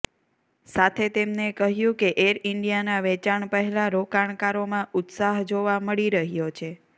સાથે તેમને કહ્યું કે એર ઇન્ડિયાના વેચાણ પહેલા રોકાણકારોમાં ઉત્સાહ જોવા મળી રહ્યો છે